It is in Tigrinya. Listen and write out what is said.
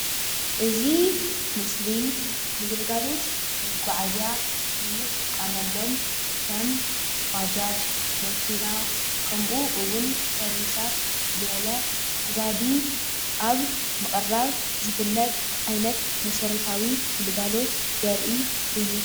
እዚ ምስሊ ንግልጋሎት መጓዓዝያ እንጥቀመሎም ከም ባጃጅ ፣መኪና ከምኡ እውን ሰርቪሳት ዝበለ ነዳዲ አብ ምቅራብ ዝፍለጥ ዓይነት መሰረታዊ ግልጋሎት ዘርኢ እዩ ።